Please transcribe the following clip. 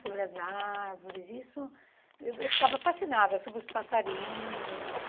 Sobre as árvores, isso... Eu eu ficava fascinada sobre os passarinhos.